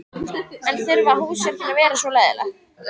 En þurfa húsverkin að vera svona leiðinleg?